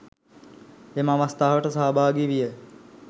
එම අවස්ථාවට සහභාගි විය.